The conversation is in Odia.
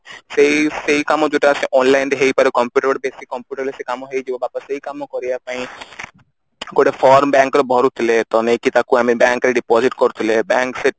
ସେଇ ସେଇ କାମ ଯୋଉଟା online ରେ ହେଇପାରେ computer ବେସୀ computer ରେ ସେଇ କାମ ହେଇଯିବ ବାପା ସେଇ କାମ କରିବା ପାଇଁ ଗୋଟେ form bank ର ଭରୁଥିଲେ ତ ନେଇକି ତାକୁ ଆମେ bank ରେ deposit କରୁଥିଲେ bank ସେ